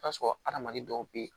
I bi t'a sɔrɔ hadamaden dɔw be yen